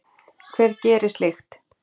Hver gerir slíkt?